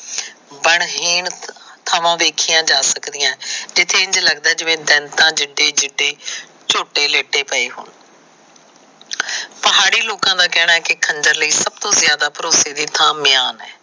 ਬੰਨਹੀਣ ਥਾਵਾਂ ਵੇਖੀਆਂ ਜਾ ਸਕਦੀਆਂ। ਜਿਥੇ ਇੰਝ ਲੱਗਦਾ ਦੈਂਤਾ ਜਿੱਦੇ ਜਿੱਦੇ ਝੋਟੇ ਲਿੱਟੇ ਪਏ ਹੋਣ। ਪਹਾੜੀ ਲੋਕਾਂ ਦਾ ਕਹਿਣਾਂ ਕਿ ਖੰਜਰ ਲਈ ਸਭ ਤੋ ਜਿਆਜਾ ਭਰੋਸੇ ਦੀ ਥਾਂ ਮਿਆਨ ਹੈਂ।